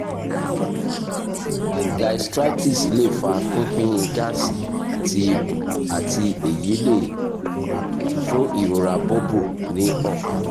gastritis le fa pipin gaasi ti ikun ati eyi le fun irora bubble ni ọpa